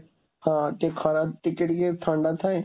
ହଁ, ଟିକେ ଖରା, ଟିକେ ଟିକେ ଥଣ୍ଡା ଥାଏ,